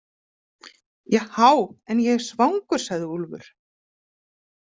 Jahá, en ég er svangur, sagði Úlfur.